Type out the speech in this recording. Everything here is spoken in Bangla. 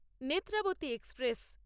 নেত্রাবতী এক্সপ্রেস